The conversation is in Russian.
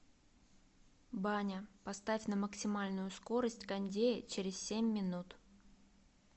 баня поставь на максимальную скорость кондея через семь минут